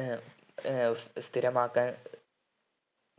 ഏർ ഏർ സ്ഥിരമാക്കാൻ